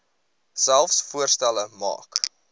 selfs voorstelle maak